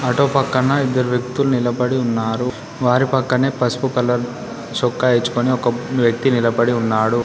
Auto పక్కన ఇద్దరు వ్యక్తులు నిలబడి ఉన్నారు. వారి పక్కనే పసుపు కలర్ చొక్కా యేచుకుని ఒక వ్యక్తి నిలబడి ఉన్నాడు.